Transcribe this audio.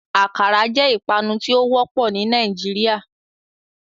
Akara jẹ ipanu ti o wọpọ ni Nigeria.